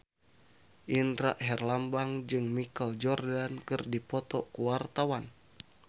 Indra Herlambang jeung Michael Jordan keur dipoto ku wartawan